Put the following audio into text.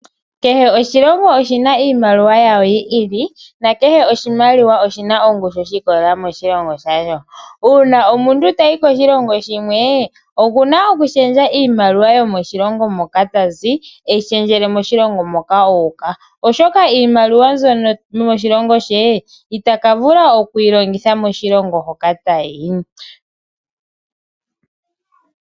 Kehe oshilongo oshina iimaliwa yawo yi ili nakehe oshimaliwa oshina ongushu ahi ikolelela moahilongo shayo uuna omuntu eyi shendjele moshilongo moka u uka oshoka iimaliwa mbyono yomoshililongo she itaka vula okuyi longitha moshilongo moka tayi.